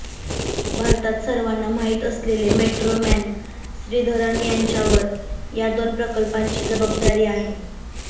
भारतात सर्वांना माहीत असलेले मेट्रो मॅन श्रीधरन यांच्यावर या दोन प्रकल्पांची जबाबदारी आहे